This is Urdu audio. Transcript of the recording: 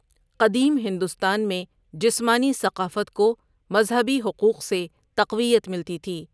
قدیم ہندوستان میں جسمانی ثقافت کو مذہبی حقوق سے تقویت ملتی تھی۔